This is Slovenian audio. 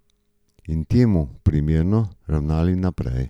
In temu primerno ravnali naprej.